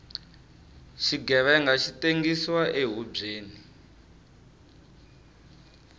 xighevenga xi tengsiwa ehubyeni